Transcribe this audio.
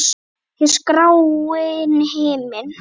Yfir gráan himin.